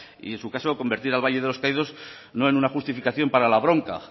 y en su caso convertir al valle de los caídos no en una justificación para la bronca